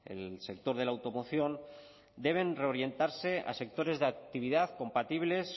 el sector de la automoción deben reorientarse a sectores de actividad compatibles